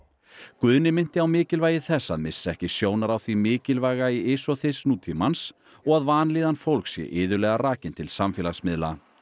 Guðni minnti á mikilvægi þess að missa ekki sjónar á því mikilvæga í ys og þys nútímans og að vanlíðan fólks sé iðulega rakin til samfélagsmiðla